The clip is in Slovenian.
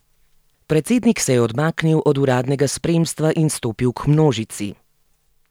Predsednik se je odmaknil od uradnega spremstva in stopil k množici.